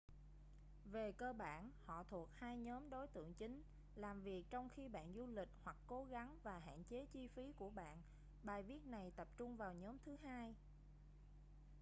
về cơ bản họ thuộc hai nhóm đối tượng chính làm việc trong khi bạn du lịch hoặc cố gắng và hạn chế chi phí của bạn bài viết này tập trung vào nhóm thứ hai